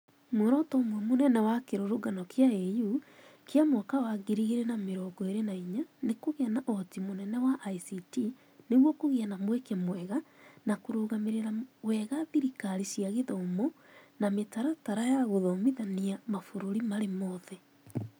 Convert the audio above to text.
Mworoto ũmwe mũnene wa kĩrũrũngano kĩa AU kĩa 2024 nĩ kũgĩa na ũhoti mũnene wa ICT nĩguo kũgĩe na mweke mwega na kũrũgamĩrĩra wega thirikari cia gĩthomo namĩtaratara ya gũthomithania mabũrũri marĩ mothe